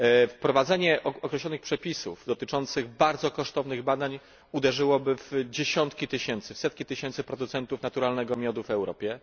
Wprowadzenie określonych przepisów dotyczących bardzo kosztownych badań uderzyłoby w setki tysięcy producentów naturalnego miodu w Europie.